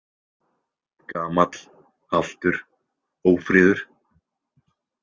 Gamall, haltur, ófríður.